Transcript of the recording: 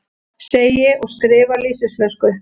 Segi og skrifa lýsisflösku.